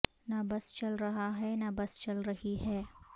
نہ بس چل رہا ہے نہ بس چل رہی ہے